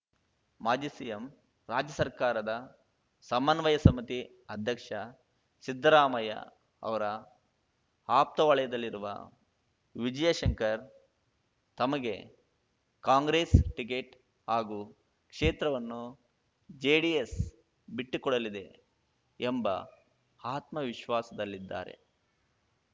ಮಾಜಿ ಸಿಎಂ ರಾಜ್ಯ ಸರ್ಕಾರದ ಸಮನ್ವಯ ಸಮಿತಿ ಅಧ್ಯಕ್ಷ ಸಿದ್ದರಾಮಯ್ಯಅವರ ಆಪ್ತವಲಯದಲ್ಲಿರುವ ವಿಜಯಶಂಕರ್‌ ತಮಗೆ ಕಾಂಗ್ರೆಸ್‌ ಟಿಕೆಟ್‌ ಹಾಗೂ ಕ್ಷೇತ್ರವನ್ನು ಜೆಡಿಎಸ್‌ ಬಿಟ್ಟುಕೊಡಲಿದೆ ಎಂಬ ಆತ್ಮವಿಶ್ವಾಸದಲ್ಲಿದ್ದಾರೆ